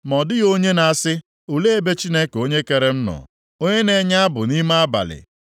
Ma ọ dịghị onye na-asị, ‘Olee ebe Chineke onye kere m nọ, onye na-enye abụ nʼime abalị,